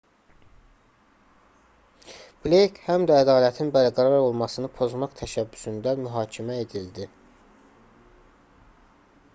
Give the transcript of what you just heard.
bleyk həm də ədalətin bərqərar olmasını pozmaq təşəbbüsündən mühakimə edildi